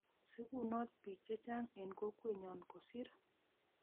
Sigunot biik chechang eng kokwet nyon kosir